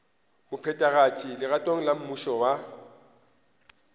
mophethagatši legatong la mmušo wa